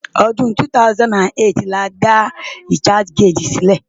Ọdún 2008 ni a dá researchgate sílẹ̀.